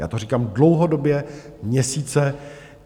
Já to říkám dlouhodobě, měsíce.